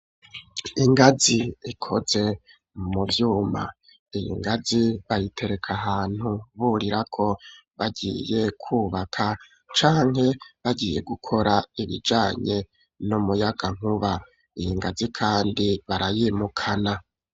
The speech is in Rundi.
Ingazi, ikoze mu vyuma; iyi ngazi, bayitereka ahantu, burirako, bagiye kwubaka; canke, bagiye gukora, ibijanye n'umuyagankuba; iyi ngazi kandi, barayimukana.